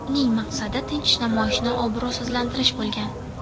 Uning maqsadi tinch namoyishni obro‘sizlantirish bo‘lgan.